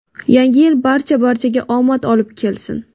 Yangi yil barcha barchaga omad olib kelsin.